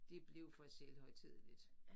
Det blev for selvhøjtideligt